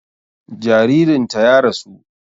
Jaririn ta ya rasu